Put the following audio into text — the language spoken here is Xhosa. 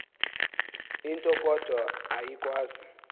into kodwa ayikwazi